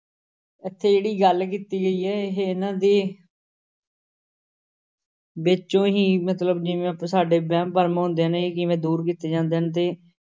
ਇੱਥੇ ਜਿਹੜੀ ਗੱਲ ਕੀਤੀ ਗਈ ਹੈ ਇਹ ਇਹਨਾਂ ਦੇ ਵਿੱਚੋਂ ਹੀ ਮਤਲਬ ਜਿਵੇਂ ਸਾਡੇ ਵਹਿਮ ਭਰਮ ਹੁੰਦੇ ਨੇ ਕਿਵੇਂ ਦੂਰ ਕੀਤੇ ਜਾਂਦੇ ਹਨ ਤੇ